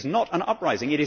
This is not an uprising.